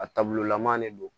A taabololama de don